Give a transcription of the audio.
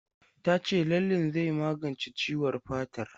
Ta ce lallen zai magance ciwon fatar.